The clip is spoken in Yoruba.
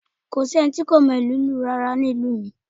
Kò sí ẹni tí kò mọ ìlú lù rárá nínú ìlú mi